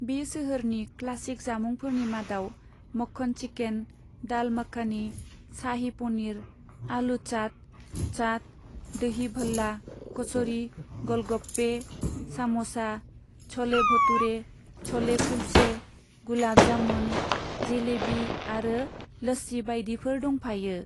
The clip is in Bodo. बे सोहोरनि क्लासिक जामुंफोरनि मादाव मक्खन चिकेन, दाल मखानी, शाही पनीर, आलू चाट, चाट, दही भल्ला, कच'री, ग'ल गप्पे, साम'सा, छ'ले भटूरे, छ'ले कुल्चे, गुलाब जामुन, जेलेबी आरो लस्सी बायदिफोर दंफायो।